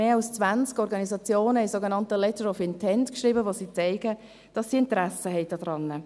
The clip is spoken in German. Mehr als 20 Organisationen haben einen sogenannten «Letter of Intent» geschrieben, um zu zeigen, dass sie daran Interesse haben.